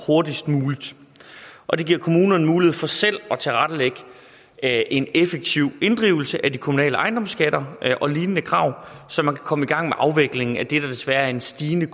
hurtigst muligt og det giver kommunerne mulighed for selv at en effektiv inddrivelse af de kommunale ejendomsskatter og lignende krav så man kan komme i gang med afviklingen af det der desværre er en stigende